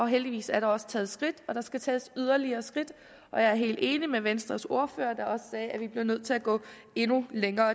heldigvis er der også taget skridt til og der skal tages yderligere skridt jeg er helt enig med venstres ordfører der også sagde at vi bliver nødt til at gå endnu længere